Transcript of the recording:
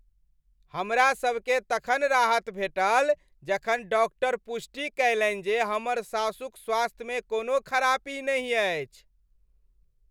हमरासभकेँ तखन राहत भेटल जखन डाक्टर पुष्टि कयलनि जे हमर सासुक स्वास्थ्यमे कोनो खरापी नहि अछि।